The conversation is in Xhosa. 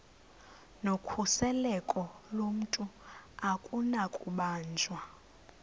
nokhuseleko lomntu akunakubanjwa